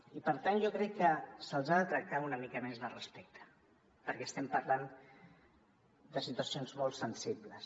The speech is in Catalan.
i per tant jo crec que se’ls ha de tractar amb una mica més de respecte perquè estem parlant de situacions molt sensibles